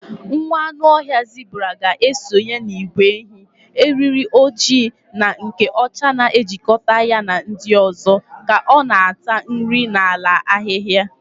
Nwa anụ ọhịa zebura ga-esonye n'ìgwè ehi, eriri ojii na nke ọcha na-ejikọta ya na ndị ọzọ ka ọ na-ata nri n'ala ahịhịa.